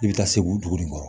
I bɛ taa segu dugu nin kɔrɔ